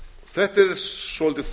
þetta er svolítið